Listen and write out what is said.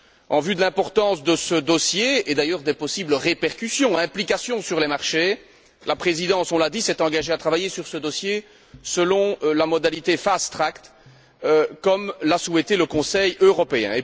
En vue de l'importance de ce dossier et des possibles répercussions sur les marchés, la Présidence, on l'a dit, s'est engagée à travailler sur ce dossier selon la modalité fast track comme l'a souhaité le Conseil européen.